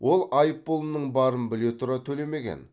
ол айыппұлының барын біле тұра төлемеген